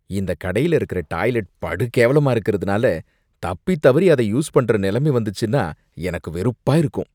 இந்த கடையில இருக்கற டாய்லட் படு கேவலமா இருக்கறதுனால தப்பி தவறி அதை யூஸ் பண்ற நிலைமை வந்துச்சின்னா எனக்கு வெறுப்பா இருக்கும்.